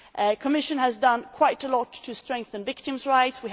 The Commission has done quite a lot to strengthen victims' rights.